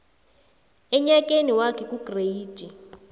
enyakeni wakhe kugreyidi